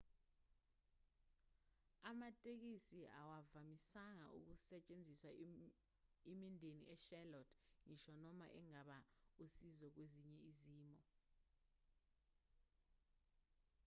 amatekisi awavamisanga ukusetshenziswa imindeni echarlotte ngisho noma engaba usizo kwezinye izimo